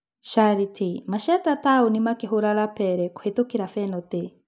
Sharitĩ: Masheta Taũni makĩhũra Lapele kũhetũkĩra benatĩ.